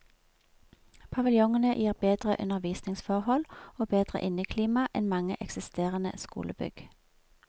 Paviljongene gir bedre undervisningsforhold og bedre inneklima enn mange eksisterende skolebygg.